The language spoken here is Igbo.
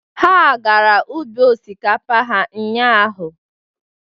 Ha gara ubi osikapa ha ụnyaahụ.